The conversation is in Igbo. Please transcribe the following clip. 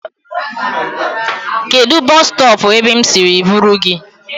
Kedụ bọs stọọpụ ebe m siri buru gị?